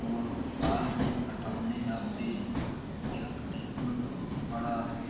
और बाल भी काटने आते है यह सैलून बहुत बड़ा है।